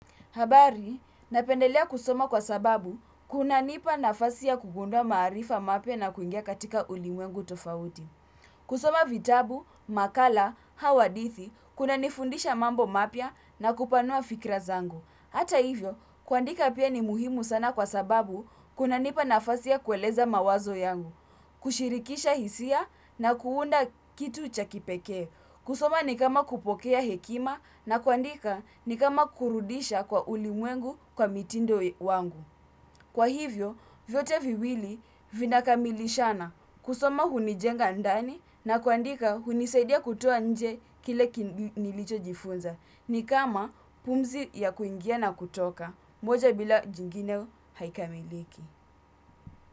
Habari, napendelea kusoma kwa sababu, kunanipa nafasi ya kugundua maarifa mapya na kuingia katika ulimwengu tofauti. Kusoma vitabu, makala, au hadithi, kunanifundisha mambo mapya na kupanua fikra zangu. Hata hivyo, kuandika pia ni muhimu sana kwa sababu, kunanipa nafasi ya kueleza mawazo yangu. Kushirikisha hisia na kuunda kitu cha kipekee. Kusoma ni kama kupokea hekima na kuandika ni kama kurudisha kwa ulimwengu kwa mitindo wangu. Kwa hivyo, vyote viwili vinakamilishana kusoma hunijenga ndani na kuandika hunisaidia kutoa nje kile nilichojifunza. Ni kama pumzi ya kuingia na kutoka. Moja bila jingine haikamiliki.